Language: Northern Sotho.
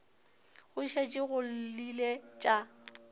go šetše go llile tša